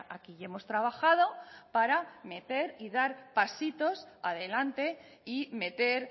aquí y hemos trabajado para meter y dar pasitos adelante y meter